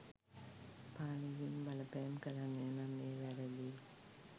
පාලකයින් බලපෑම් කරන්නේනම් එය වැරදියි